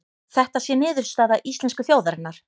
Þetta sé niðurstaða íslensku þjóðarinnar